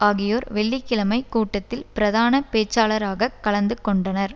ஆகியோர் வெள்ளி கிழமை கூட்டத்தில் பிரதான பேச்சாளராக கலந்து கொண்டனர்